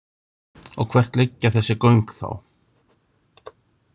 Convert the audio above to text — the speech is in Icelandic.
Og hvert liggja þessi göng þá?